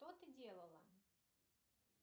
что ты делала